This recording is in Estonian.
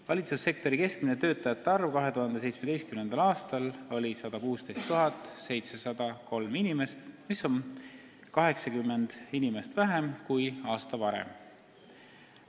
Valitsussektori keskmine töötajate arv 2017. aastal oli 116 703 inimest, mis on 80 inimest vähem kui aasta varem.